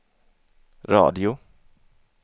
radio